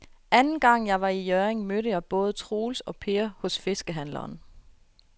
Anden gang jeg var i Hjørring, mødte jeg både Troels og Per hos fiskehandlerne.